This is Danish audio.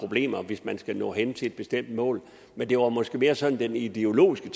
problemer hvis man skal nå hen til et bestemt mål men det var måske mere sådan det ideologiske